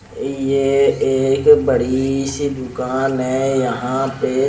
ये एक बड़ी सी दूकान है यहाँ पे--